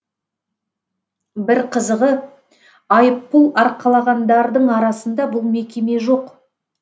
бір қызығы айыппұл арқалағандардың арасында бұл мекеме жоқ